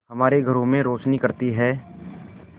हमारे घरों में रोशनी करती है